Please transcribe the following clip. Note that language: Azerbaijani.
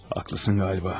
Haqlısan, yəqin.